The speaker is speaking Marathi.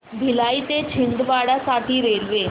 भिलाई ते छिंदवाडा साठी रेल्वे